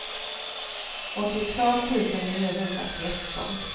åttiotvå tusen niohundratretton